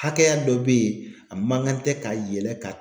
Hakɛya dɔ be ye a man kan tɛ ka yɛlɛ ka